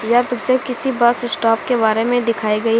यह पिक्चर किसी bus stop के बारे में दिखाई गई है।